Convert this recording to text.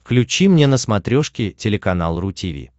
включи мне на смотрешке телеканал ру ти ви